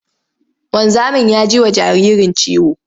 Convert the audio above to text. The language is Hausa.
Wanzamin ya ji wa jaririn ciwo.